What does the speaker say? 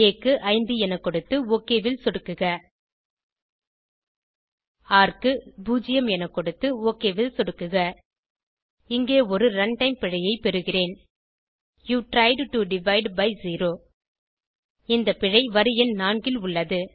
ஆ க்கு 5 என கொடுத்து ஒக் ல் சொடுக்குக ர் க்கு 0 என கொடுத்து ஒக் ல் சொடுக்குக இங்கே ஒரு ரன்டைம் பிழையை பெறுகிறேன் you tried to divide by zero இந்த பிழை வரி எண் 4 ல் உள்ளது